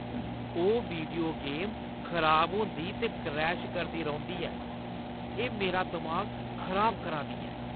ओह् video game खराब होंदी ते क्रैश करदी रौंह्‌दी ऐ। एह् मेरा दमाग खराब करा दी ऐ।